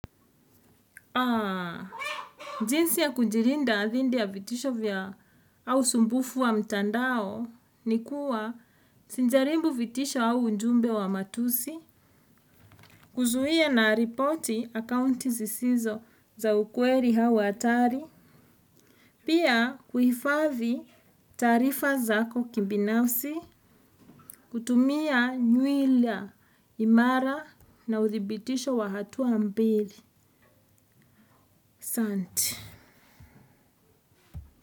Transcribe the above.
Aa, jinsi ya kujilinda dhidi ya vitisho vya au usumbufu wa mtandao ni kuwa sijaribu vitisho au ujumbe wa matusi, kuzuia na ripoti akaunti zisizo za ukweli au hatari, pia kuhifadhi taarifa zako kibinafsi, kutumia nywilia imara na uthibitisho wa hatua mbili, asanti.